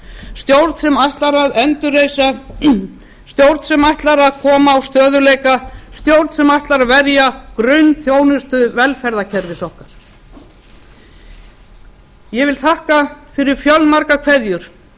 stjórn sem ætlar að endurreisa stjórn sem ætlar að koma á stöðugleika stjórn sem ætlar að verja grunnþjónustu velferðarkerfis okkar ég þakka fyrir fjölmargar kveðjur